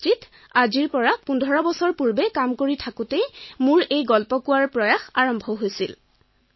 সাধু কোৱাৰ আৰম্ভণি ১৫ বছৰ পূৰ্বে হৈছিল যেতিয়া মই এটা ছফটৱেৰ উদ্যোগত কাম কৰিছিলো